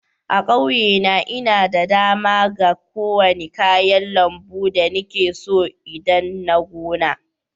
A'kauye na, nna da dama ga kowani kayan lambu da nike so idan nna gona.